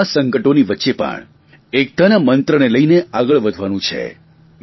પરંતુ આ સંકટોની વચ્ચે પણ એકતાના મંત્રને લઇને આગળ વધવાનું છે